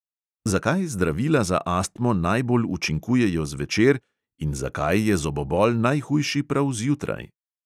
Zakaj zdravila za astmo najbolj učinkujejo zvečer in zakaj je zobobol najhujši prav zjutraj?